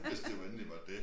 Hvis det jo endelig var det